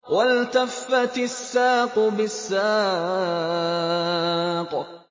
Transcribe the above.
وَالْتَفَّتِ السَّاقُ بِالسَّاقِ